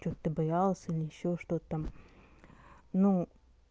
что-то ты боялась или ещё что-то там ну